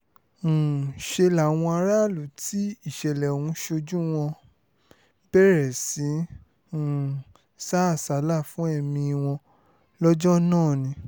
um ṣe làwọn aráàlú tí ìṣẹ̀lẹ̀ ọ̀hún ṣojú wọn bẹ̀rẹ̀ sí í um sá àsálà fún ẹ̀mí wọn lọ́jọ́ náà ni